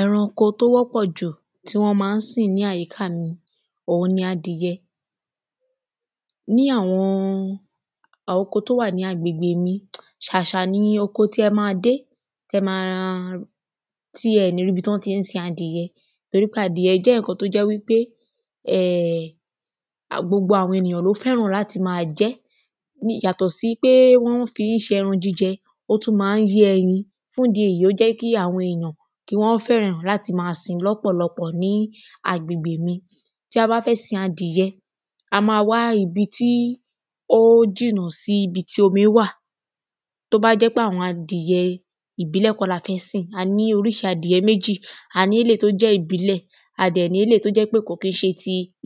Ẹranko tó wọ́pọ̀ jù tí wọ́n má ń sìn ní àyíká mi òhun ni adìyẹ ní àwọn àwọn oko tí ó wà ní agbègbè mi ṣàṣà ni oko tí ẹ má dé tí ẹ má tí ẹ ní rí tí wọn ti ní sin adìyẹ torí adìyẹ jẹ́ nǹkan tó jẹ pé a gbogbo àwọn èyàn ló fẹ́ràn láti má jẹ́ ní yàtọ̀ sí pé wọ́n fí má ń ṣe ẹran jíjẹ ó tún má ń yé ẹyin fún ìdí èyí ó jẹ́ kí àwọn èyàn kí wọ́n fẹ́ràn láti má sìn lọ́pọ̀lọpọ̀ ní agbègbè mi. Tí a bá fẹ́ sin adìyẹ a má wá ibi tí ó jìnà sí ibi tí omi wà tó bá jẹ́ pé àwọn adìyẹ ìbílẹ̀ kọ́ la fẹ́ sìn a ní oríṣi méjì a ní eléèyí tó jẹ́ ìbílẹ̀ á dẹ̀ ní eléèyí tó jẹ́ wípé kò kìí ṣe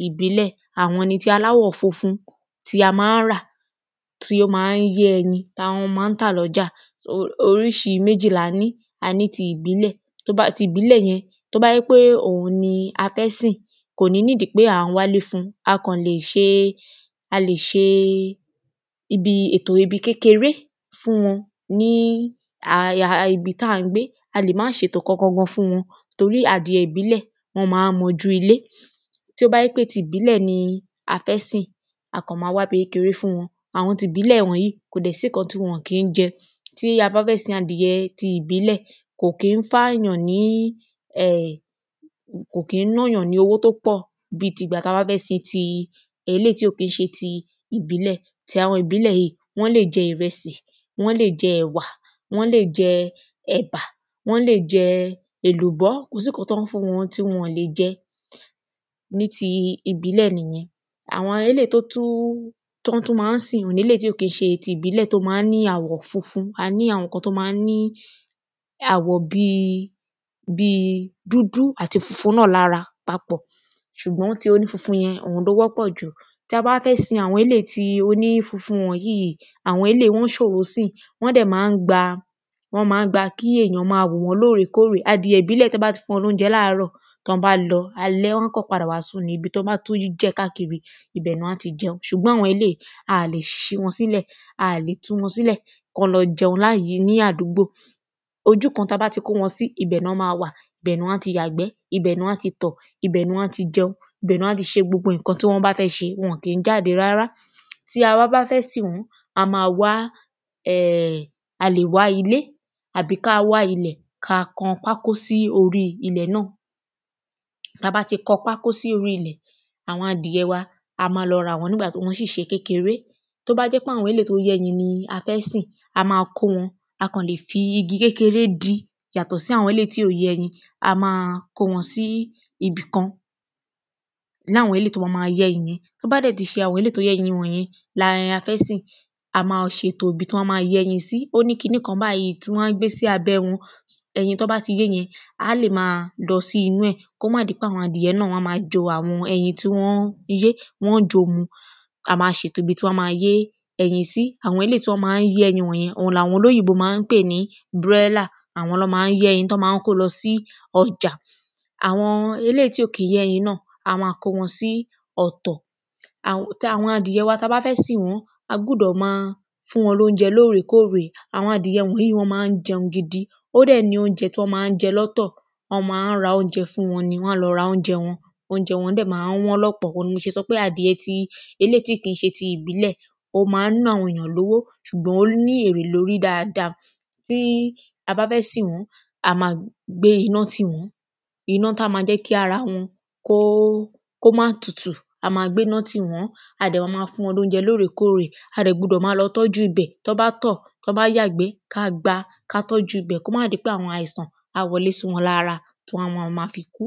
ìbílẹ̀ tó jẹ́ àwọn funfun tí a má ń rà tó má ń yé ẹyin táwọn má ń tà lọ́jà oríṣi méjì ni a ní a ní ti ìbílẹ̀ yẹn tó bá jẹ́ pé òhun ni a fẹ́ sìn kò ní need pé à ń wálé fún a kàn lè ṣe a lè ṣe ibi ètò ibi kékeré fún wọn ní àya ibi tá ń gbé a lè má ṣètò ibì kankan fún wọn torí adìyẹ ìbílẹ̀ wọ́n má ń mọ ojú ilé tí ó bá jẹ́ pé ti ìbílẹ̀ ni a fẹ́ sìn a kàn má wá ibi kékeré fún wọn àwọn ìbílẹ̀ wọ̀nyìí kò dẹ̀ sí nǹkan tí wọn kìí jẹ tí a bá fẹ́ sin adìyẹ ti ìbílẹ̀ kò kí ń fà yàn ní um kò kí ń ná yàn ní owó tó pọ̀ bí tígbà tá bá fẹ́ sin ti ẹ̀ eléèyí tí ò kí ń ṣe ti ìbílẹ̀ ti àwọn ìbílẹ̀ yìí wọ́n lè jẹ ìrẹsì wọ́n lè jẹ ẹ̀wà wọ́n lè jẹ ẹ̀bà wọ́n lè jẹ èlùbọ́ kò sí nǹkan tẹ́ le fún wọn tí wọn lè jẹ ní ti ìbílẹ̀ nìyẹn àwọn elêyí tó tún tán tún má ń sìn eléèyí tí kò tún ní àwọ̀ funfun tán tún má ń ní àwọ̀ bí dúdú àti funfun náà lára papọ̀ ṣùgbọ́n ti oní funfun yẹn eléyẹn ló wọ́pọ̀ jù tí a bá fẹ́ sin àwọn eléèyí tí ó ní funfun wọ̀nyìí àwọn eléèyí wọ́n ṣòro sìn wọ́n dẹ̀ má ń gba wọ́n má ń gba kí èyàn má wò wọ́n lórè kórè adìyẹ ìbílẹ̀ tẹ́ bá ti fún wọn ní óúnjẹ ní àárọ̀ tán bá lọ alẹ́ wọ́n kàn padà wá sùn ni ibi tán bá tún rí jẹ̀ káàkiri ibẹ̀ ni wọ́n á ti jẹun ṣùgbọ́n àwọn eléèyí a lè ṣí wọn sílẹ̀ a lè tú wọn sílẹ̀ kí wọn lọ jẹun ní àdúgbò ojú kan ibi tí a bá ti kó wọn sí ibẹ̀ ni wọ́n á má wà ni wọ́n á yàgbẹ́ ibẹ̀ ni wọ́n á ti tọ̀ ibẹ̀ ni wọ́n á ti jẹun ibẹ̀ ni wọ́n á ti ṣe gbogbo nǹkan tí wọ́n bá fẹ́ ṣe wọn ò kí ń jáde rárá. Tí a wá bá fẹ́ sìn wọ́n a má wá a lè wá ilé àbí ká wá ilẹ̀ ká kan pákó sí orí ilẹ̀ náà tá bá ti kan pákó sí orí ilẹ̀ àwọn adìye wa a má lọ rà wọ́n nígbà tí wọ́n ṣì ṣe kékeré tó bá jẹ́ wípé àwọn eléèyí tó ń yé ẹyin la fẹ́ sìn a má kó wọn a kàn má fi igi kékeré dí yàtọ̀ sí àwọn eléèyí tí kò yé ẹyin a má kó wọn sí ibìkan ní àwọn eléèyí tó bá má yé ẹyin tó bá dẹ̀ pé àwọn eléèyí tó fé yé ẹyin la fẹ́ sìn a má ṣètò ibi tí wọ́n á má yé ẹyin sí ó ní kiní kan báyìí tí wọ́n má gbé sí abẹ́ wọn ẹyin tán bá ti yé yẹn á lè má lọ sí inú ẹ̀ kó má di pé àwọn adìyẹ náà wọ́n má jo àwọn ẹyin tí wọ́n ń yé wọ́n ń jòó mu a má ṣètò ibi tí wọ́n má yé ẹyin sí àwọn eléèyí tí wọ́n má ń yé ẹyin òhun láwọn olóyìnbó má ń pè ní broiler òhun ni wọ́n má ń kó lọ sí ọjà àwọn eléèyí tí ò kí ń yé ẹyin náà a má kó wọn sí ọ̀tọ̀ ti àwọn adìyẹ wa tí a bá fẹ́ sìn wọ́n a gbúdọ̀ má fún wọn lóúnjẹ lórè kórè àwọn àdìyẹ yìí wọ́n má ń jẹun gidi ó dẹ̀ ní óúnjẹ tí wọ́n má ń jẹ lọ́tọ̀ wọ́n má ń lọ ra óúnjẹ fún wọn ni óúnjẹ wọn dẹ̀ má ń wọ́n lọ́pọ̀ torí ẹ̀ ni mo ṣe sọ pé eléèyí tí kìí ṣe adìyẹ ìbílẹ̀ ó má ń ná àwọn èyàn lówó ṣùgbọ́n ó má ń ní èrè lórí dáada tí a bá fẹ́ sìn wọ́n a má gbé iná tì wọ́n iná tó má jẹ́ kí ara wọn kó kó má tutù a má gbéná tì wọ́n a dẹ̀ má má fún wọn lóúnjẹ lórè kórè a dẹ̀ gbúdọ̀ lọ má tọ́jú ibẹ̀ tán bá tọ̀ tán bá yàgbẹ́ ká gbá ká tọ́jú ibẹ̀ kó má di pé àwọn àìsàn á má wọlẹ́ sí wọn lára tán má fi kú.